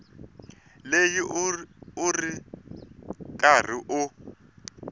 leyi u ri karhi u